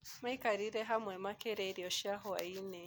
Maikarĩre hamwe makĩrĩa irio cia hwaĩ-inĩ.